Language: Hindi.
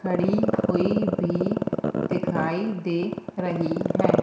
खड़ी हुई भी दिखाई दे रही है।